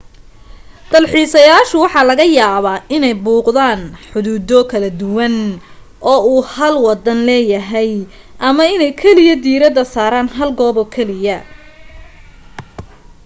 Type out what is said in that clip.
dalxiisayaashu waxa laga yaabaa inay buuqdaan xuduudo kala duwan oo uu hal wadan leeyahay ama inay kaliya diirada saaraan hal goob kaliya